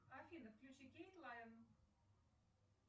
афина включи кейт лайн